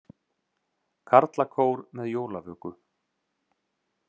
Karlakór með jólavöku